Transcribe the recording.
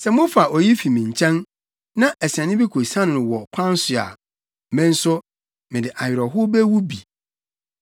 Sɛ mofa oyi fi me nkyɛn, na asiane bi kosiane no wɔ kwan so a, me nso, mede awerɛhow bewu bi.’